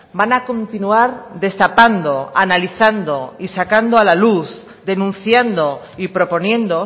van a continuar destapando analizando y sacando a la luz denunciando y proponiendo